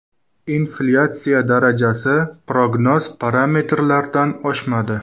Inflyatsiya darajasi prognoz parametrlardan oshmadi.